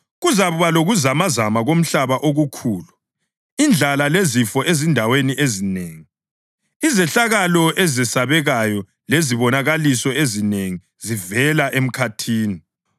Kuzakuba lokuzamazama komhlaba okukhulu, indlala lezifo ezindaweni ezinengi, izehlakalo ezesabekayo lezibonakaliso ezinengi zivela emkhathini.